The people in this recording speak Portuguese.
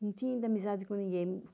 Não tinha ainda amizade com ninguém.